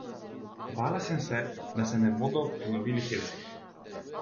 Bala sem se, da se ne bodo ponovili Helsinki.